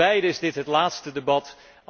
Voor beiden is dit het laatste debat.